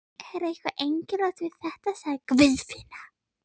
Það er eitthvað einkennilegt við þetta, sagði Guðfinna.